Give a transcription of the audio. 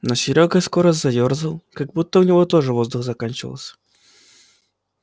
но серёга скоро заёрзал как будто у него тоже воздух заканчивался